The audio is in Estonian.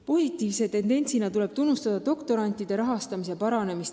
Positiivse tendentsina tuleb tunnustada doktorantide rahastamise paranemist.